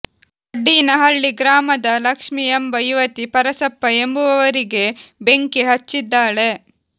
ವಡ್ಡಿನಹಳ್ಳಿ ಗ್ರಾಮದ ಲಕ್ಷ್ಮಿ ಎಂಬ ಯುವತಿ ಪರಸಪ್ಪ ಎಂಬುವವರಿಗೆ ಬೆಂಕಿ ಹಚ್ಚಿದ್ದಾಳೆ